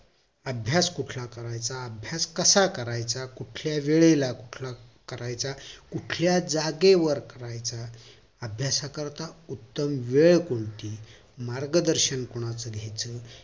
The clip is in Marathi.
अभ्यास कुठला करायचा अभ्यास कसा करायचा कुठल्या वेळेला करायचा कुठल्या जागेवर करायचा अभ्याससाठी उत्तम वेळ कोणती मार्ग दर्शन कोणाचं घ्याच